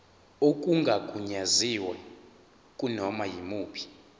okungagunyaziwe kunoma yimuphi